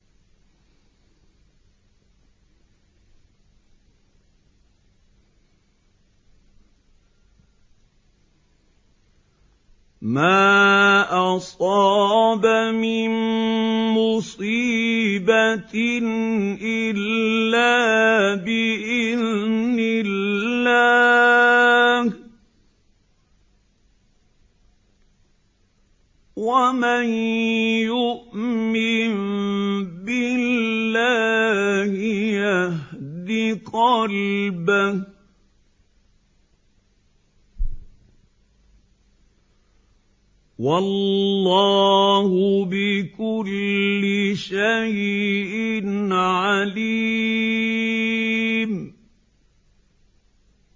مَا أَصَابَ مِن مُّصِيبَةٍ إِلَّا بِإِذْنِ اللَّهِ ۗ وَمَن يُؤْمِن بِاللَّهِ يَهْدِ قَلْبَهُ ۚ وَاللَّهُ بِكُلِّ شَيْءٍ عَلِيمٌ